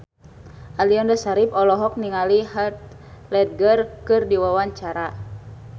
Aliando Syarif olohok ningali Heath Ledger keur diwawancara